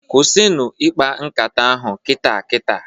Kwụsịnụ ikpa nkata ahụ kita kita!